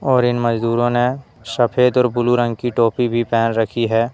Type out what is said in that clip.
और इन मजदूरों ने सफेद और ब्लू रंग की टोपी भी पहन रखी है।